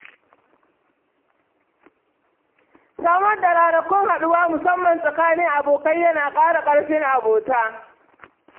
Samar da ranakun haɗuwa musamman tsakanin abokai yana ƙara ƙarfin abota.